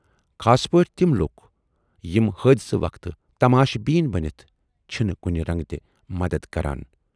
خاص پٲٹھۍ تِم لوٗکھ یِم حٲدۍثہٕ وقتہٕ تماش بیٖن بٔنِتھ چھِنہٕ کُنہِ رنگہٕ تہِ مدد کران۔